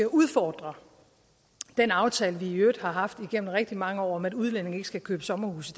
udfordre den aftale vi i øvrigt har haft igennem rigtig mange år om at udlændinge ikke skal købe sommerhuse